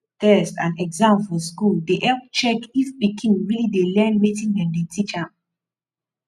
test and exam for school dey help check if pikin really dey learn wetin dem dey teach am